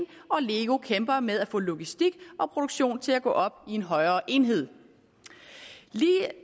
og lego kæmper med at få logistik og produktion til at gå op i en højere enhed